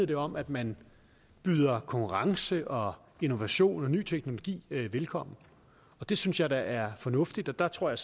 det om at man byder konkurrence og innovation og ny teknologi velkommen det synes jeg da er fornuftigt og der tror jeg